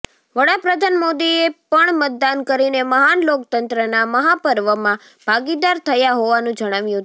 વડા પ્રધાન મોદીએ પણ મતદાન કરીને મહાન લોકતંત્રના મહાપર્વમાં ભાગીદાર થયા હોવાનું જણાવ્યું હતું